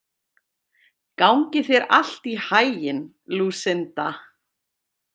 Gangi þér allt í haginn, Lúsinda.